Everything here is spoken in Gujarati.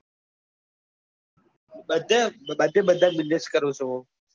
બધા બધે બધા business કરું છું.